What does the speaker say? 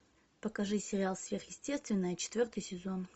покажи сериал сверхъестественное четвертый сезон